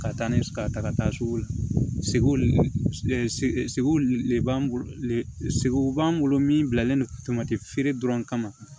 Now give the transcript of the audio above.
Ka taa ni ka taa ka taa sugu la seguli segu de b'an bolo sogow b'an bolo min bilalen don feere dɔrɔn kama